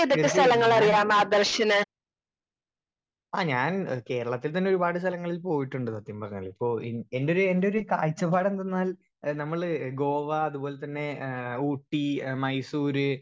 speaker 1 തീർച്ചായും ഞാൻ ആ ഞാൻ കേരളത്തിൽ തന്നെ ഒരുപാട് സ്ഥലങ്ങളിൽ പോയിട്ടുണ്ട് സത്യം പറഞ്ഞാൽ പോ എൻ എന്റൊരു എന്റൊരു കാഴ്ച്ചപാടെന്തെന്നാൽ ഏഹ് നമ്മൾ ഗോവ അതുപ്പോലെതന്നെ ഏഹ് ഊട്ടി എഹ് മൈസൂര്